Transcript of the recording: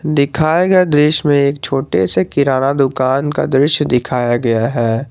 दिखाए गए दृश्य में एक छोटे से किराना दुकान का दृश्य दिखाया गया है।